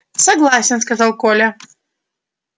согласен сказал коля